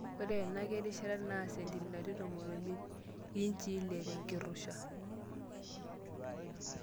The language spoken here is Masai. Ore ena kirishata naa sentimitai tomon omiet (inchii ile)tenkirusha.